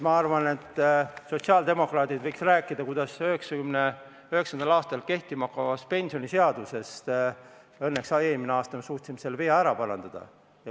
Ma arvan, et sotsiaaldemokraadid võiks rääkida, kuidas 1999. aastal kehtima hakanud pensioniseaduses õnneks me eelmine aasta suutsime selle vea ära parandada.